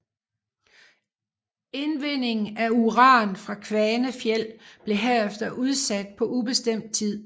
Indvinding af uran fra Kvanefjeld blev herefter udsat på ubestemt tid